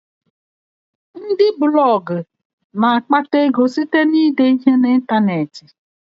Ndị Blọga na-akpata ego site na ide ihe na ịntanetị